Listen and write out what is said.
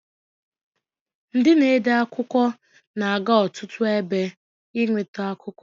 Ndị na-ede akụkọ na-aga ọtụtụ ebe inwete akụkọ.